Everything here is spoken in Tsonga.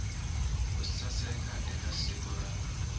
ku sukela eka siku ra